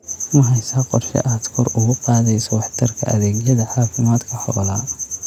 Ma haysaa qorshe aad kor ugu qaadayso waxtarka adeegyada caafimaadka xoolaha?